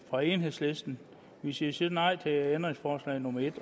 fra enhedslisten men sige sige nej til ændringsforslag nummer